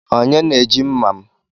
Onye na-eji mma m?